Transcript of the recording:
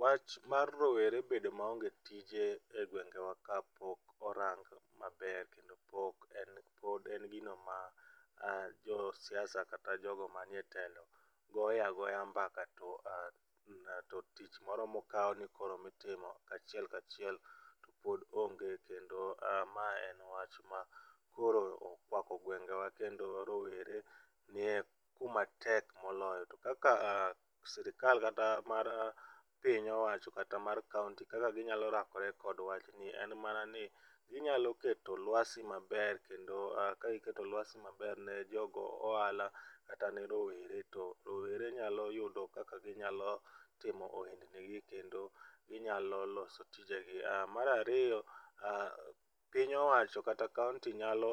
Wach mar rowere bedo maonge tije e gwengewa kapok orang maber kendo pod en, pod en gino ma jo siasa kata jogo manie telo goe agoya mbaka to tich moro mokao ni itimo achiel kachiel pod onge kendo ma en wachma koro okwako gwengewa kendo rowere nie kuma tek moloyo. To kaka sirkal kata mar piny owacho kata mar kaunti kaka ginyalo rakore gi wach ni en mana ni ginyalo keto lwasi maber kendo ka giketo lwasi maber ne jogo ohala kata ne rowere to rowere nyalo yudo kaka gitimo ohelni gi kendo ginyalo loso tijegi. Mar ariyo piny owacho kata kaunti nyalo